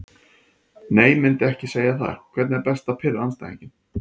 Nei myndi ekki segja það Hvernig er best að pirra andstæðinginn?